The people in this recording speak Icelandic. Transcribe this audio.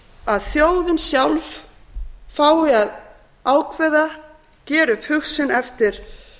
að þjóðin sjálf fái að ákveða gera upp hug sinn eftir